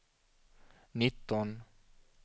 nitton